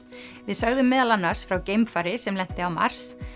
við sögðum meðal annars frá geimfari sem lenti á Mars